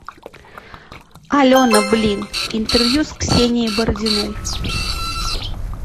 алена блин интервью с ксенией бородиной